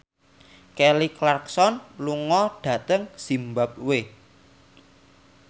Kelly Clarkson lunga dhateng zimbabwe